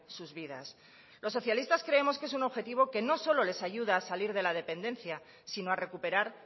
sus vidas los socialistas creemos que es un objetivo que no solo les ayuda a salir de la dependencia sino a recuperar